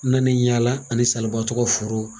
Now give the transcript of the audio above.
N nani yaala ani salibatɔ ka foro